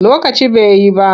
Lokaci ba yi ba.